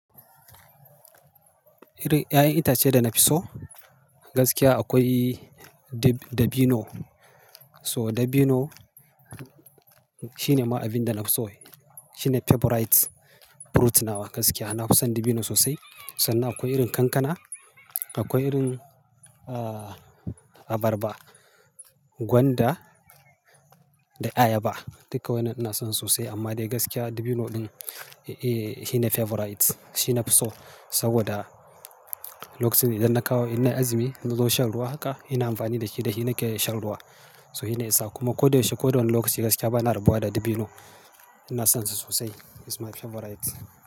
Irin 'ya'yan itace da na fi so? Gaskiya akwai dabino. So dabino shi ne ma abin da na fi so. Shi ne favorite fruit nawa gaskiya. Na fi son dabino sosai. Sannan akwai irin kankana, akwai irin, ah, abarba, gwanda da ayaba. Duka wannan ina son sa sosai amma dai gaskiya dabino ɗin, eh, shi ne favorite. Shi na fi so saboda lokacin idan na kawo, innai azumi na zo shan ruwa haka ina amfani da shi da shi nake shan ruwa. So shi ne yasa. Kuma ko da yaushe, ko wane lokaci gaskiya ba na rabuwa da dabino. Ina son shi sosai. He's my favorite.